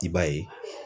I b'a ye